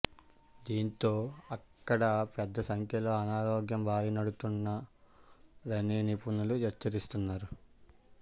దీంతో అక్కడ పెద్ద సంఖ్యలో అనారోగ్యం బారినపడుతున్నారని నిపుణులు హెచ్చరిస్తున్నారు